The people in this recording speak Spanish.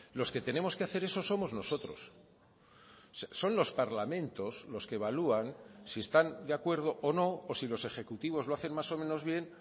los que tenemos que hacer eso somos nosotros son los parlamentos los que evalúan si están de acuerdo o no o si los ejecutivos lo hacen más o menos bien